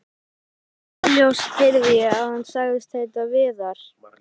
Óljóst heyrði ég að hann sagðist heita Viðar.